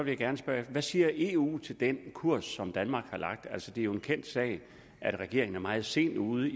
jeg gerne spørge hvad siger eu til den kurs som danmark har lagt altså det er en kendt sag at regeringen er meget sent ude